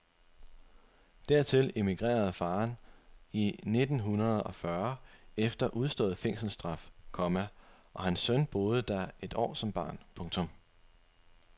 Dertil emigrerede faderen i nittenhundredeogfyrre efter udstået fængselsstraf, komma og hans søn boede der et år som barn. punktum